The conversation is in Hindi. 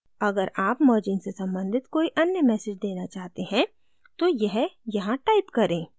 अगर आप merging से सम्बंधित कोई any message देना चाहते हैं तो यह यहाँ type करें